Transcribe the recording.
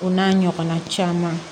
O n'a ɲɔgɔn na caman